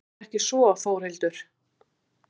Er ekki svo Þórhildur?